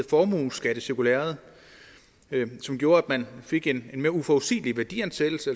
formueskattecirkulæret det gjorde at man fik en mere uforudsigelig værdiansættelse